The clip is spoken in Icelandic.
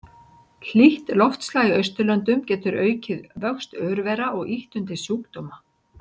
Hlýtt loftslag í Austurlöndum getur aukið vöxt örvera og ýtt undir sjúkdóma.